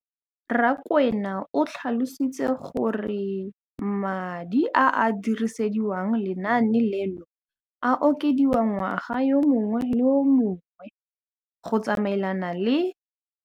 Rakwena o tlhalositse gore madi a a dirisediwang lenaane leno a okediwa ngwaga yo mongwe le yo mongwe go tsamaelana le